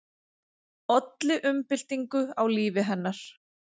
Olli umbyltingu á lífi hennar.